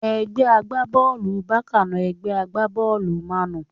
Ẹgbẹ́ agbá-bọ́ọ̀lù Bákà na ẹgbẹ́ agbá-bọ́ọ̀lù mánù